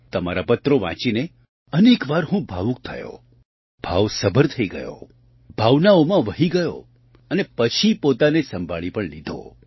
તમારા પત્રો વાંચીને અનેક વાર હું ભાવુક થયો ભાવસભર થઈ ગયો ભાવનાઓમાં વહી ગયો અને પછી પોતાને સંભાળી પણ લીધો